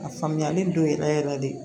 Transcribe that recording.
A faamuyalen don yɛrɛ yɛrɛ de